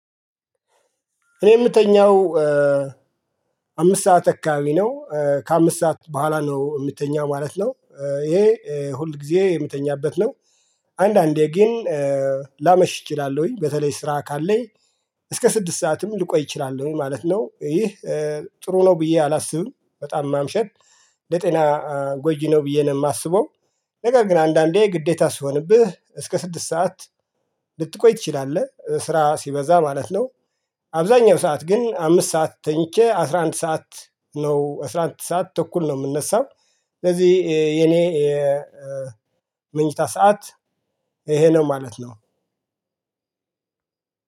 እኔ የምተኛው አምስት ሰዓት አካባቢ ነው ከአምስት ሰዓት በኋላ ነው ምተኛው ማለት ነው ይሄ ሁል ጊዜ የምተኛበት ነው። አንዳንዴ ግን ላመሽ እችላለሁኝ በተለይ ስራ ካለኝ እስከ ስድስት ሰዓትም ልቆይ እችላለሁኝ ማለት ነው። ይህ ጥሩ ነው ብዬ አላስብም በጣም ማምሸት ለጤና ጎጂ ነው ብዬ ነው የማስበው። ነገር ግን አንዳንዴ ግዴታ ሲሆንብህ እስከ ስድስት ሰዓት ልትቆይ ትችላለህ ስራ ሲበዛ ማለት ነው። አብዛኛው ሰዓት ግን አምስት ሰዓት ተኝቼ አስራ አንድ ሰዓት ነው አስራ አንድ ሰዓት ተኩል ነው የምነሳው። ስለዚህ የኔ መኝታ ሰዓት ኤሄ ነው ማለት ነው።